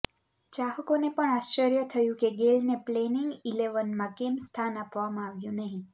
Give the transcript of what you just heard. ચાહકોને પણ આશ્ચર્ય થયું કે ગેઇલને પ્લેઇંગ ઇલેવનમાં કેમ સ્થાન આપવામાં આવ્યું નહીં